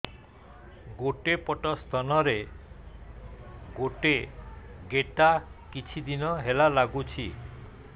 ଗୋଟେ ପଟ ସ୍ତନ ରେ ଗୋଟେ ଗେଟା କିଛି ଦିନ ହେଲା ଲାଗୁଛି